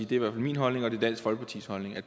det er min holdning og dansk folkepartis holdning er